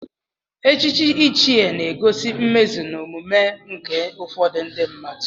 Echichi ichie na-egosi mmezu na omume nke ụfọdụ ndị mmadụ.